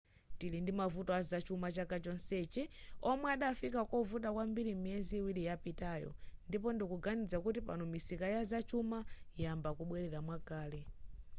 tili ndimavuto azachuma chaka chonsechi omwe adafika kovuta kwambiri miyezi iwiri yapitayo ndipo ndikuganiza kuti pano misika ya zachuma ayamba kubwelera mwakale